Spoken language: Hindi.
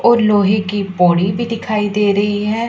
और लोहे की पौड़ी भी दिखाई दे रही है।